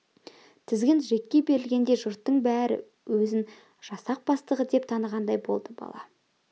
тізгін джекке берілгенде жұрттың бәрі өзін жасақ бастығы деп танығандай болды бала